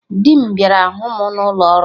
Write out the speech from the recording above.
Dị m bịara hụ mụ n'ụlọ ọrụ m